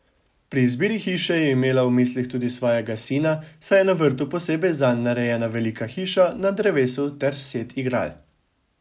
Pri izbiri hiše je imela v mislih tudi svojega sina, saj je na vrtu posebej zanj narejena velika hiša na drevesu ter set igral.